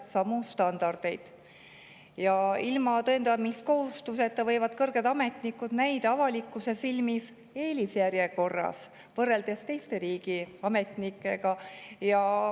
Ilma tõendamiskohustuseta võib avalikkusele näida, et kõrged ametnikud võrreldes teiste riigiametnikega on eelis.